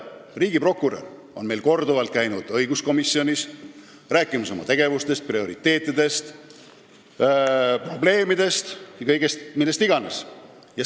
Riigiprokurör on korduvalt käinud õiguskomisjonis rääkimas oma tegevustest, prioriteetidest, probleemidest, millest iganes.